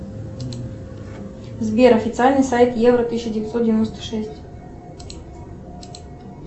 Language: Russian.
сбер официальный сайт евро тысяча девятьсот девяносто шесть